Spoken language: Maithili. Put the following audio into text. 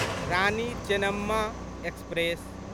रानी चेन्नम्मा एक्सप्रेस